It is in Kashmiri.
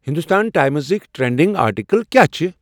ہندوستان ٹائمزٕکۍ ٹرینڈِنگ آرٹیکل کیا چِھ ؟